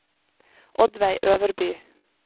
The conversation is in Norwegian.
Oddveig Øverby